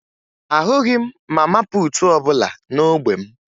Ahụghị m mama puutu ọbụla n'ógbè m